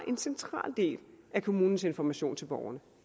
en central del af kommunens information til borgerne